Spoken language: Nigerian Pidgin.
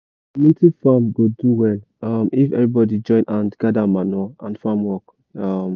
community farm go do well um if everybody join hand gather manure and farm work. um